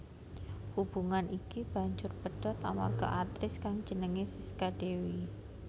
Hubungan iki banjur pedhot amarga aktris kang jenengé Sisca Dewi